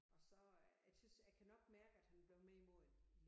Og så øh jeg tys jeg kan nok mærke at han er blevet mere moden i